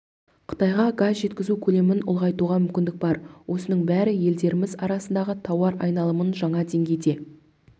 қытайға газ жеткізу көлемін ұлғайтуға мүмкіндік бар осының бәрі елдеріміз арасындағы тауар айналымын жаңа деңгейге